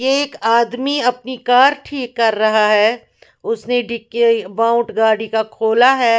एक आदमी अपनी कार ठीक कर रहा है उसने डिक्की बॉक्स गाड़ी का खोला हुआ है।